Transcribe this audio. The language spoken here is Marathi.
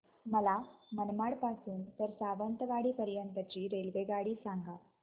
मला मनमाड पासून तर सावंतवाडी पर्यंत ची रेल्वेगाडी सांगा